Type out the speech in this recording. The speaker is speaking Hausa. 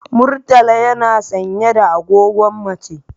Murtala yana sanye da agogon mace.